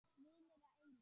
Vinir að eilífu.